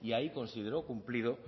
y ahí consideró cumplido